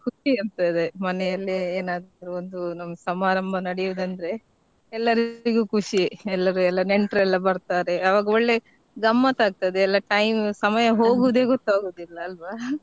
ಖುಷಿ ಇರ್ತದೆ ಮನೆಯಲ್ಲಿ ಏನಾದ್ರೂ ಒಂದು ನಮ್ಗ್ ಸಮಾರಂಭ ನಡೆಯುದಂದ್ರೆ ಎಲ್ಲರಿಗೂ ಖುಷಿ ಎಲ್ಲರೂ ಎಲ್ಲಾ ನೆಂಟ್ರೆಲ್ಲ ಬರ್ರ್ತಾರೆ ಅವಾಗ ಒಳ್ಳೆ ಗಮ್ಮತ್ ಆಗ್ತದೆ ಎಲ್ಲಾ time ಸಮಯ ಹೋಗುದೆ ಗೊತ್ತಾಗುದಿಲ್ಲ ಅಲ್ವಾ .